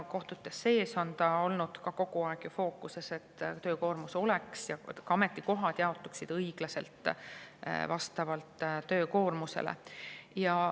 Kohtutes sees on ka olnud kogu aeg fookuses, et töökoormus ja ametikohad jaotuksid õiglaselt, vastavalt töökoormusele.